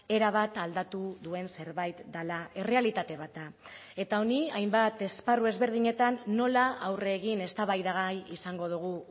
erabat aldatu duen zerbait dela errealitate bat da eta honi hainbat esparru ezberdinetan nola aurre egin eztabaidagai izango dugu